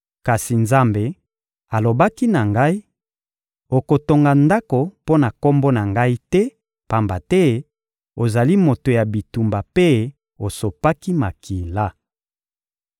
Kasi Nzambe alobaki na ngai: «Okotonga ndako mpo na Kombo na Ngai te, pamba te ozali moto ya bitumba mpe osopaki makila.»